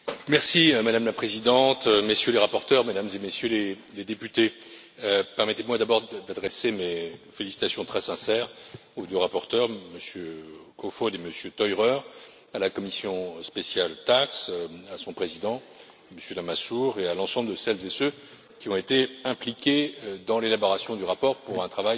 Madame la Présidente, Messieurs les rapporteurs, Mesdames et Messieurs les députés, permettez moi d'abord d'adresser mes félicitations très sincères aux deux rapporteurs, Monsieur Kofod et Monsieur Theurer, à la commission spéciale TAXE, à son président, Monsieur Lamassoure, et à l'ensemble de celles et ceux qui ont été impliqués dans l'élaboration du rapport, pour un travail qui